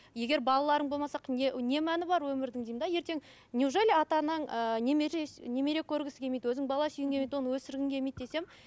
егер балаларың болмаса не не мәні бар өмірдің деймін де ертең неужели ата анаң ыыы немере немере көргісі келмейді өзің бала сүйгің келмейді оны өсіргің келмейді десем